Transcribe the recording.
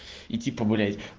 и типа блять